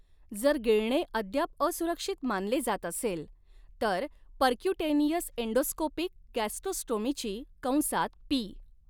जर गिळणे अद्याप असुरक्षित मानले जात असेल, तर पर्क्यूटेनियस एंडोस्कोपिक गॅस्ट्रोस्टोमीची कंसात पी.